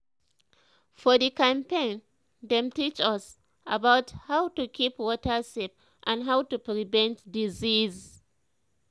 for the campaign dem teach us about how to keep water safe and how to prevent disease.